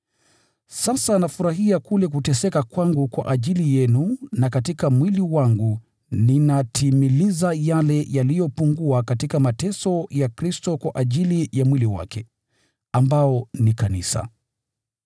Sasa nafurahia kule kuteseka kwangu kwa ajili yenu, na katika mwili wangu ninatimiliza yale yaliyopungua katika mateso ya Kristo kwa ajili ya mwili wake, ambao ni kanisa.